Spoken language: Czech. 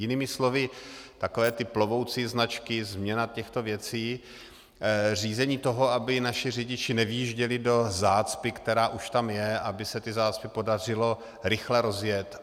Jinými slovy, takové ty plovoucí značky, změna těchto věcí, řízení toho, aby naši řidiči nevyjížděli do zácpy, která už tam je, aby se ty zácpy podařilo rychle rozjet.